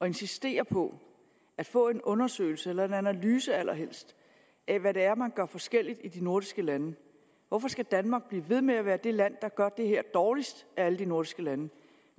insistere på at få en undersøgelse eller en analyse allerhelst af hvad det er man gør forskelligt i de nordiske lande hvorfor skal danmark blive ved med at være det land der gør det her dårligst af alle de nordiske lande